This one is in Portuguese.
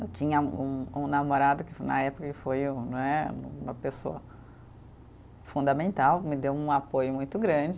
Eu tinha um um namorado, que na época ele foi um né, uma pessoa fundamental, me deu um apoio muito grande.